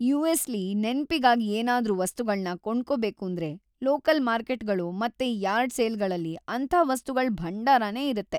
ಯು.ಎಸ್.ಲಿ ನೆನ್ಪಿಗಾಗ್ ಏನಾದ್ರೂ ವಸ್ತುಗಳ್ನ ಕೊಂಡ್ಕೊಬೇಕೂಂದ್ರೆ ಲೋಕಲ್ ಮಾರ್ಕೆಟ್ಗಳು ಮತ್ತೆ ಯಾರ್ಡ್ ಸೇಲ್ಗಳಲ್ಲಿ ಅಂಥ ವಸ್ತುಗಳ್‌ ಭಂಡಾರನೇ ಇರತ್ತೆ.